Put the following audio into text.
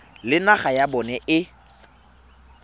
le naga ya bona e